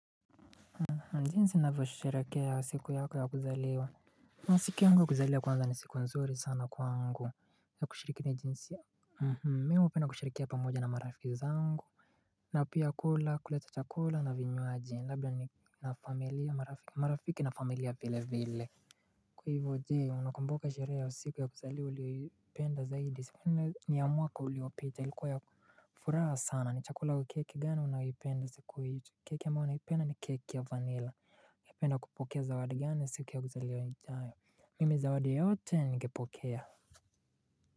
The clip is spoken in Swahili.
Jinsi unavyo sherehekea siku yako ya kuzaliwa Naam siku yangu ya kuzaliwa kwanza ni siku nzuri sana kwangu na kushirikini jinsi ya mhm mimi hupenda kushirikia pamoja na marafiki zangu na pia kula kuleta chakula na vinywaji labda ni na familia marafiki na familia vile vile Kwa hivo je unakumbuka sherehe ya siku ya kuzaliwa uliyopenda zaidi siku ni ya mwaka uliopita ilikuwa yaFuraha sana ni chakula kwa keki gani unayoipenda siku hio keki ambayo naipenda ni keki ya vanilla mpenda kupokea zawadi gani siku ya kuzaliwa ijayo Mimi zawadi yoyote ningepokea.